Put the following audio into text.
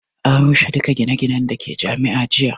An rushe duka gine ginen da ke Jami'a jiya